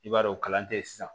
I b'a dɔn o kalan tɛ ye sisan